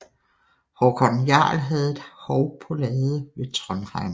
Håkon jarl havde et hov på Lade ved Trondheim